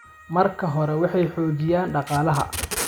Marka hore, waxay xoojiyaan dhaqaalaha.